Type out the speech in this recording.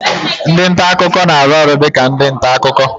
Ndị nta akụkọ na-arụ ọrụ dị ka ndị nta akụkọ